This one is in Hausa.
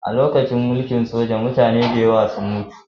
A lokacin mulkin soja mutane da yawa sun mutu